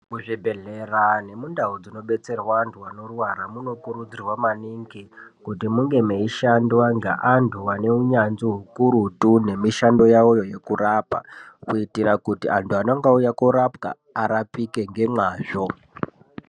Muzvibhedhlera nemundau dzinobetserwa anthu anorwara munokurudzirwa kuti munge meishandwa ngeanthu ane unyanzvi ukurutu ngemishando yawoyo yekurapa kuitira kuti anthu anenge auya koorapwa arapike ngemwazvo.